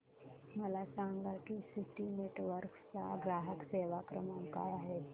मला सांगा की सिटी नेटवर्क्स चा ग्राहक सेवा क्रमांक काय आहे